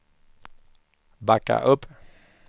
backa upp